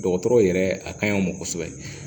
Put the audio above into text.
Dɔgɔtɔrɔw yɛrɛ a kaɲi an ma kosɛbɛ